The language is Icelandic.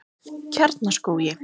Kjarnaskógi